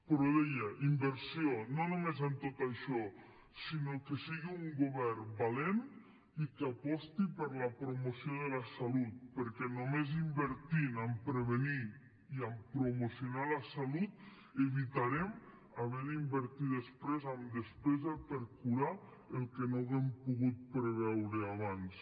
però deia inversió no només en tot això sinó que sigui un govern valent i que aposti per la promoció de la salut perquè només invertint en prevenir i en promocionar la salut evitarem haver d’invertir després en despesa per curar el que no hàgim pogut preveure abans